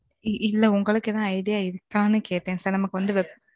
இல்ல, உங்களுக்கு ஏதாவது idea இருக்கான்னு, கேட்டேன் sir நமக்கு வந்து